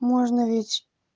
можно ведь